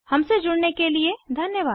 हमसे जुड़ने के लिए धन्यवाद